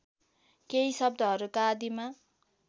केही शब्दहरूका आदिमा